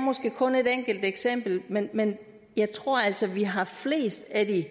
måske kun er et enkelt eksempel men men jeg tror altså at vi har flest af